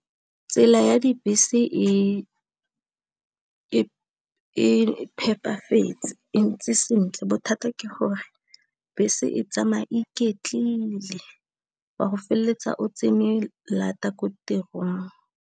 Tsela ya dibese e phepafetse e ntse sentle, bothata ke gore bese e tsamaya iketlile wa go feleletsa o tse ne lata ko tirong.